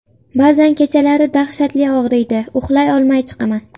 Ba’zan kechalari dahshatli og‘riydi, uxlay olmay chiqaman.